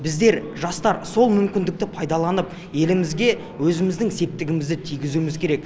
біздер жастар сол мүмкіндікті пайдаланып елімізге өзіміздің септігімізді тигізуіміз керек